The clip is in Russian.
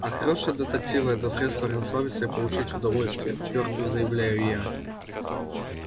а хорошие детективы это средство расслабиться и получить удовольствие твёрдо заявляю я